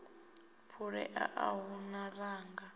phulea a hu na ṅanga